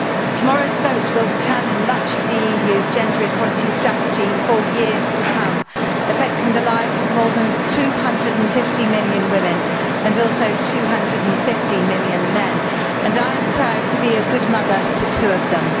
Tomorrow's vote will determine much of the EU's gender equality strategy for years to come, affecting the lives of more than 250 million women and also 250 million men, and I am proud to be a good mother to two of them.